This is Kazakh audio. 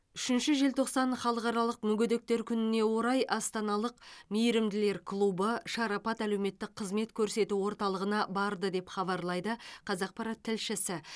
үшінші желтоқсан халықаралық мүгедектер күніне орай астаналық мейірімділер клубы шарапат әлеуметтік қызмет көрсету орталығына барды деп хабарлайды қазақпарат тілшісі